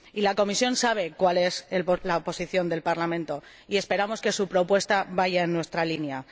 La Comisión sabe cuál es la posición del Parlamento, y esperamos que su propuesta vaya en nuestra línea.